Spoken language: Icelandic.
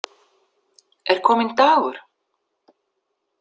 Er kominn dagur?